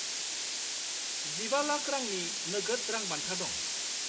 -15,00,000/- रांनि नोगोद रां बान्था दं।